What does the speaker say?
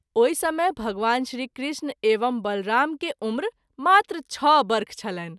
ओहि समय भगवान श्री कृष्ण एवं बलराम के उम्र मात्र छ: वर्ष छलनि।